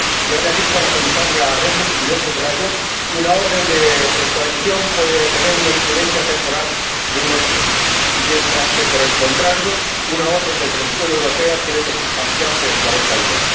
Ya le ha dicho la Comisaria Reding —y yo lo subrayo— que una orden de extradición puede tener una incidencia temporal de un año, mientras que, por el contrario, una orden de detención europea tiene que sustanciarse en cuarenta días.